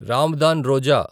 Ramadan Roja